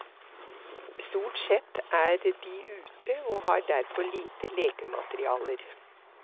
Stort sett er de ute og har derfor lite lekematerialer.